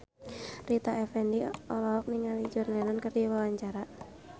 Rita Effendy olohok ningali John Lennon keur diwawancara